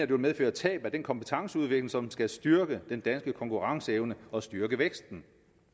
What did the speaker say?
vil medføre tab af den kompetenceudvikling som skal styrke den danske konkurrenceevne og styrke væksten